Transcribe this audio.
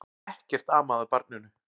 Ekkert amaði að barninu.